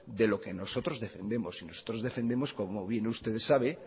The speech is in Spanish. de lo que nosotros defendemos y nosotros defendemos como bien usted sabe